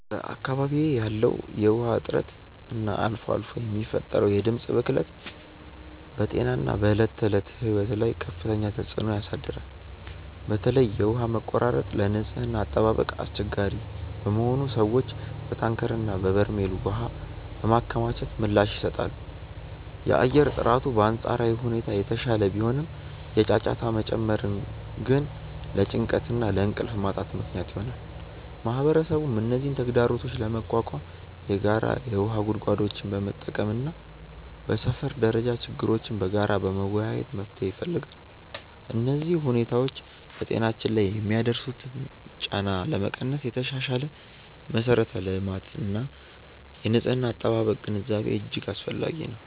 በአካባቢዬ ያለው የውሃ እጥረት እና አልፎ አልፎ የሚፈጠረው የድምፅ ብክለት በጤናና በዕለት ተዕለት ሕይወት ላይ ከፍተኛ ተጽዕኖ ያሳድራል። በተለይ የውሃ መቆራረጥ ለንጽህና አጠባበቅ አስቸጋሪ በመሆኑ ሰዎች በታንከርና በበርሜል ውሃ በማከማቸት ምላሽ ይሰጣሉ። የአየር ጥራቱ በአንጻራዊ ሁኔታ የተሻለ ቢሆንም፣ የጫጫታ መጨመር ግን ለጭንቀትና ለእንቅልፍ ማጣት ምክንያት ይሆናል። ማህበረሰቡም እነዚህን ተግዳሮቶች ለመቋቋም የጋራ የውሃ ጉድጓዶችን በመጠቀምና በሰፈር ደረጃ ችግሮችን በጋራ በመወያየት መፍትሄ ይፈልጋል። እነዚህ ሁኔታዎች በጤናችን ላይ የሚያደርሱትን ጫና ለመቀነስ የተሻሻለ የመሠረተ ልማትና የንጽህና አጠባበቅ ግንዛቤ እጅግ አስፈላጊ ነው።